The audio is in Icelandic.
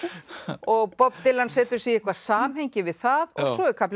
og Bob Dylan setur sig í eitthvað samhengi við það og svo er kaflinn